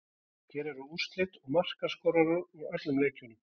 Hér eru úrslit og markaskorarar úr öllum leikjunum: